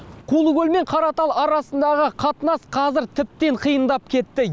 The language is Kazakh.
құлыкөл мен қаратал арасындағы қатынас қазір тіптен қиындап кетті